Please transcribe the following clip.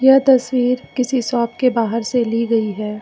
तस्वीर किसी शॉप के बाहर से ली गई है।